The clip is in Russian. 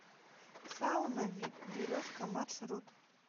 сауна вип березка маршрут